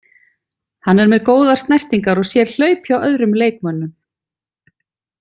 Hann er með góðar snertingar og sér hlaup hjá öðrum leikmönnum.